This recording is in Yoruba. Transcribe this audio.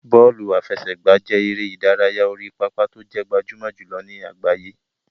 Bọ́ọ̀lù àfẹsẹ̀gbá jẹ́ eré ìdárayá orí pápá tó jẹ́ gbajúmọ̀ jùlọ ní àgbáyé.